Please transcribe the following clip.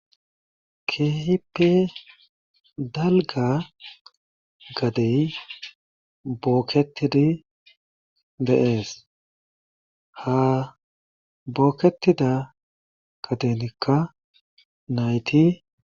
keehipe dalga gadey bookketidi de'ees ha bookketida gadenikka nayti